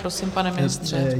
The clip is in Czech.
Prosím, pane ministře.